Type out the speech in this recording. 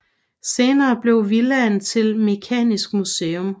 Senere blev villaen til Mekanisk Museum